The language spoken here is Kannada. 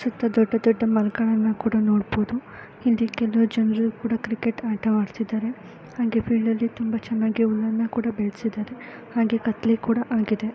ಸುತ್ತ ದೊಡ್ಡ ದೊಡ್ಡ ಮರಗಳನ್ನು ಕೂಡ ನೋಡಬಹುದು. ಹಿಂದೆ ಕೆಲಾವು ಜನ ಕ್ರಿಕೆಟ್ ಕೂಡ ಆಡ್ತಾ ಇದಾರೆ . ಹಾಗೆ ಹುಲ್ಲನ ಕೂಡ ಬೆಳ್ಸಿದರೆ ಹಾಗೆ ಕತ್ಲೆ ಕೂಡ ಆಗಿದೆ .